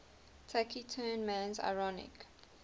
taciturn man's ironic